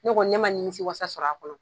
Ne kɔni ne ma ninmisi wasa sɔrɔ a kɔnɔ.